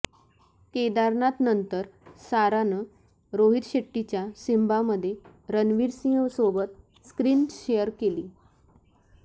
केदारनाथनंतर सारानं रोहित शेट्टीच्या सिंबामध्ये रणवीर सिंहसोबत स्क्रीन शेअर केली